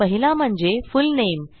पहिला म्हणजे फुलनेम